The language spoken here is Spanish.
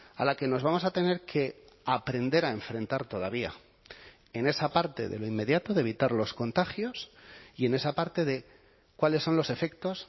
a la que nos vamos a tener que aprender a enfrentar todavía en esa parte de lo inmediato de evitar los contagios y en esa parte de cuáles son los efectos